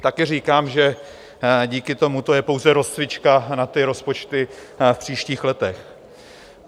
Také říkám, že díky tomu to je pouze rozcvička na ty rozpočty v příštích letech.